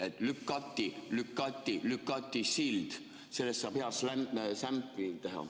Et "lükati, lükati, lükati sild" – sellest saab hea sämpli teha.